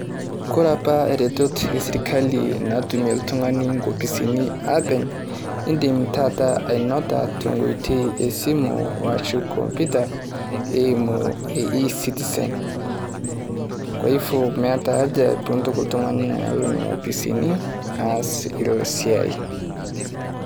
Kore apa retoto e sirikali naatume iltung'ani nkopisin apeny' idiim taata anota te nkotei e simu oshoo kompyuta eimu E-Citizen. kwa hivo meeta ajaa puuntoki iltung'ani aloo nenia ofisini aas iloo siai.